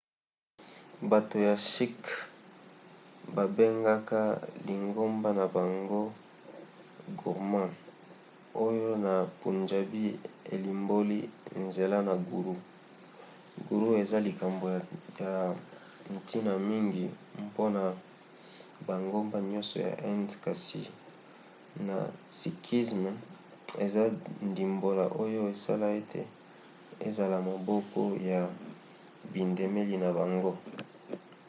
bato ya sikhs babengaka lingomba na bango gurmat oyo na punjabi elimboli nzela ya guru". guru eza likambo ya ntina mingi mpona bangomba nyonso ya inde kasi na sikhisme eza ndimbola oyo esala ete ezala moboko ya bindimeli na bango